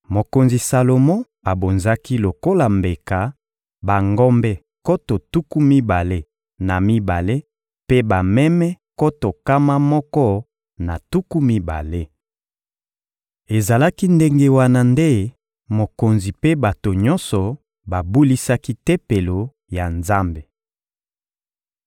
Mokonzi Salomo abonzaki lokola mbeka bangombe nkoto tuku mibale na mibale mpe bameme nkoto nkama moko na tuku mibale. Ezalaki ndenge wana nde mokonzi mpe bato nyonso babulisaki Tempelo ya Nzambe.